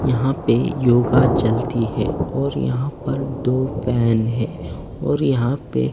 यहां पे योगा चलती है और यहां पर दो फैन हैं और यहां पे--